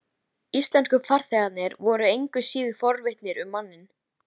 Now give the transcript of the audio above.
Íslensku farþegarnir voru engu síður forvitnir um manninn.